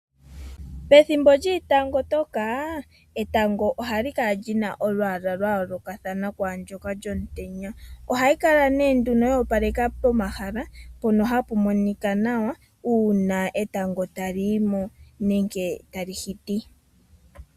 Pethimbo lyiitango toka, etango ohali kala lyina olwaala lwa yoolokathana kwaandyoka lyomutenya. Ohali kala lyoopaleka pomahala mpono hapu monika nawa uuna etango tali yi mo nenge tali shiti.